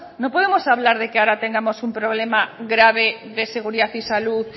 no podemos hablar de que ahora tengamos un problema grave de seguridad y salud